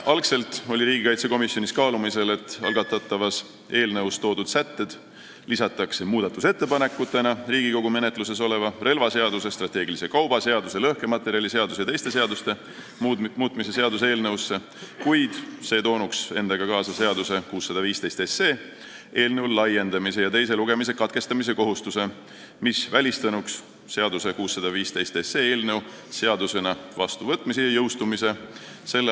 Algselt oli riigikaitsekomisjonis kaalumisel, et algatatavas eelnõus toodud sätted võiks ehk lisada muudatusettepanekutena Riigikogu menetluses oleva relvaseaduse, strateegilise kauba seaduse, lõhkematerjaliseaduse ja teiste seaduste muutmise seaduse eelnõusse 615, kuid see toonuks endaga kaasa eelnõu 615 laiendamise ja teise lugemise katkestamise kohustuse, mis välistanuks eelnõu 615 seadusena vastuvõtmise ja jõustumise s.